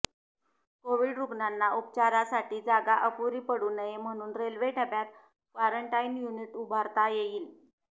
Covid रुग्णांना उपचारासाठी जागा अपुरी पडू नये म्हणून रेल्वे डब्यात क्वारंटाईन युनिट उभारता येईल